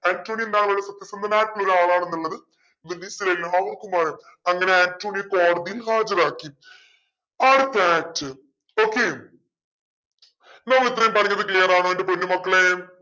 Antonio എന്താണ് സത്യസന്ധനായിട്ടുള്ള ഒരാളാണെന്നുള്ളത് വെനീസിലെ എലാവർക്കുമറിയാം അങ്ങനെ അന്റോണിയോയെ കോടതിയിൽ ഹാജരാക്കി okay നമ്മൾ ഇത്രയും പറഞ്ഞത് clear ആണോ എന്റെ പൊന്നു മക്കളേ